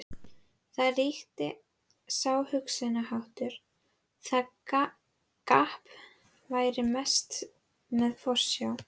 Þar ríkti sá hugsunarháttur, að kapp væri best með forsjá.